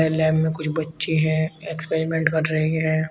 Lab में कुछ बच्चे हैं एक्सपेरिमेंट कर रहे हैं।